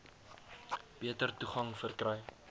beter toegang verkry